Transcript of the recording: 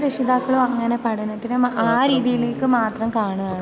പല രക്ഷിതാക്കളും അങ്ങനെ പഠനത്തിനെ ആ രീതിയിലേക്ക് മാത്രം കാണുവാണ്.